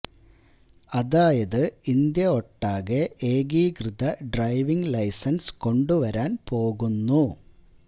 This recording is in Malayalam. അതായത് ഇന്ത്യ ഒട്ടാകെ ഏകീകൃത ഡ്രൈവിംഗ് ലൈസന്സ് കൊണ്ടു വരാന് പോകുന്നു